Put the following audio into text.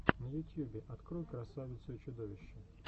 на ютьюбе открой красавицу и чудовище